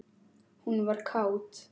Hún var kát.